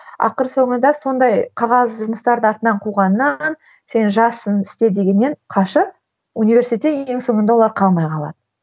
ақыры соңында сондай қағаз жұмыстарды артынан қуғаннан сен жассың істе дегеннен қашып университетте ең соңында олар қалмай қалады